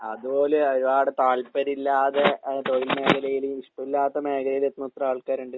അതുപോലെ അതിനോട് താല്പര്യയില്ലാതെ ആ തൊഴിൽ മേഖലയില് ഇഷ്ടം ഇല്ലാത്ത മേഖലയിലെത്തുന്ന എത്ര ആൾക്കാരുണ്ട്?